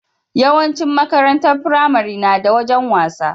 Yawan cin makarantar firamare nada wajan wasa